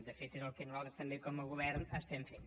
de fet és el que nosaltres també com a govern estem fent